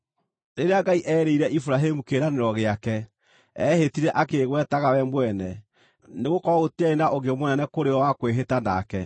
Rĩrĩa Ngai eerĩire Iburahĩmu kĩĩranĩro gĩake, eehĩtire akĩĩgwetaga we mwene, nĩgũkorwo gũtiarĩ na ũngĩ mũnene kũrĩ we wa kwĩhĩta nake,